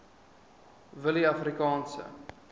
willieafrikaanse